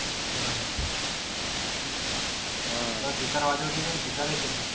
बरोबर आहे. दिसायलाच येते.